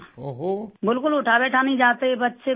بالکل اٹھا بیٹھا نہیں جاتا تھا